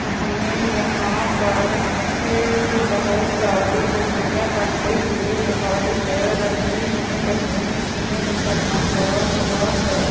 हमें यहाँ पर ये बहुत सारी बिल्डिंगे बनते हुए दिखाई दे रही है कुछ बन चुकी है कुछ पर काम लगा हुआ हैं।